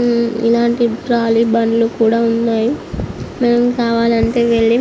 ఉమ్ ఇలాంటి ట్రాలీ బండ్లు కూడా ఉన్నాయి. మనకు కావాలంటే వెళ్ళి